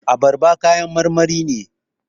Abarba kayan marmari ne